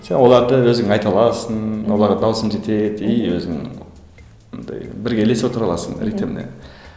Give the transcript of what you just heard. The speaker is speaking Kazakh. сен оларды өзің айта аласың оларға дауысың жетеді и өзің андай бірге ілесе отыра аласың ритіміне